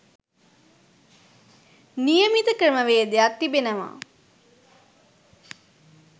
නියමිත ක්‍රමවේදයක්‌ තිබෙනවා.